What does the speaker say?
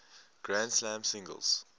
grand slam singles